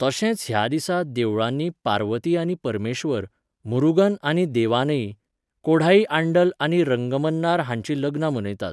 तशेंच ह्या दिसा देवळांनी पार्वती आनी परमेश्वर, मुरुगन आनी देवानई, कोढाई आंडल आनी रंगमन्नार हांचीं लग्नां मनयतात.